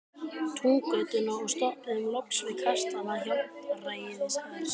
Túngötuna og stoppuðum loks við kastala Hjálpræðishersins.